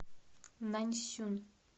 наньсюн